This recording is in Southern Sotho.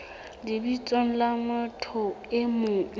lebitsong la motho e mong